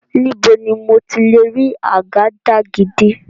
Níbo ni mo ti lè rí àgàdàgídí?